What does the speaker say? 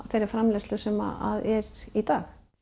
þeirri framleiðslu sem er í dag